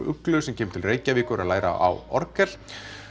Uglu sem kemur til Reykjavíkur að læra á orgel